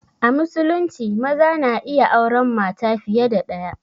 A musulunci maza na iya auren mata fiye da ɗaya